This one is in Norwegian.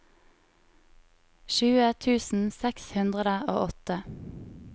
tjue tusen seks hundre og åtte